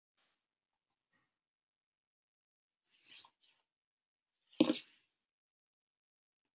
Ég hrífst mjög auðveldlega af öllu sem er fallegt og sæki í falleg hughrif.